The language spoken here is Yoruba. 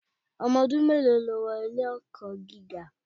Ọdún mélòó lo wọ ilé-ẹ̀kọ́ gíga?